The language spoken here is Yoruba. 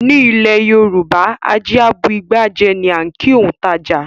Ní ilẹ̀ Yorùbá "ajé a bu igbá jẹ" ni á ń kìí òun tàjà.